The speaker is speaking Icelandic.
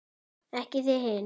Ekki þið hin!